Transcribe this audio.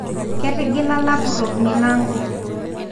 Ketigila lapurok milango